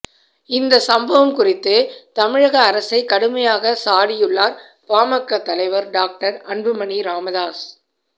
இந்த சம்பவம் குறித்து தமிழக அரசை கடுமையாக சாடியுள்ளார் பாமக தலைவர் டாக்டர் அன்புமணி ராமதாஸ்